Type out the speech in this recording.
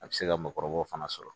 A bɛ se ka mɔgɔkɔrɔbaw fana sɔrɔ